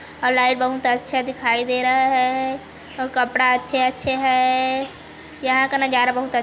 और लाइट बहुत अच्छा दिखाई दे रहा है...और कपड़ा अच्छे-अच्छे हैं यहाँ का नजारा बहुत अच--